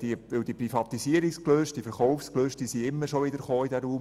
Die Verkaufsgelüste standen ja immer wieder in diesem Raum.